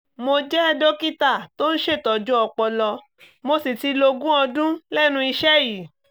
mo jẹ́ dókítà tó ń ṣètọ́jú ọpọlọ mo sì ti lo ogún ọdún lẹ́nu iṣẹ́ yìí